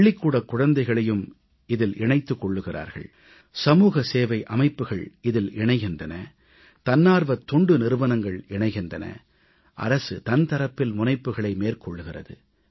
பள்ளிக்கூடக் குழந்தைகளையும் இதில் இணைத்துக் கொள்கிறார்கள் சமூகசேவை அமைப்புகள் இதில் இணைகின்றன தன்னார்வத் தொண்டு நிறுவனங்கள் இணைகின்றன அரசு தன் தரப்பில் முனைப்புக்களை மேற்கொள்கிறது